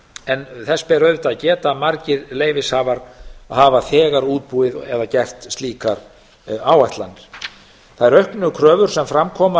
en þess ber auðvitað að geta að margir leyfishafar hafa þegar útbúið eða gert slíkar áætlanir þær auknu kröfur sem fram koma